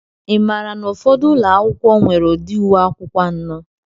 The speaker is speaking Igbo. Ị maara na ụfọdụ ụlọ akwụkwọ nwere ụdị uwe akwụkwọ anọ?